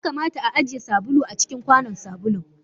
Ya kamata a ajiye sabulu a cikin kwanon sabulun.